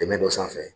Dɛmɛ dɔ sanfɛ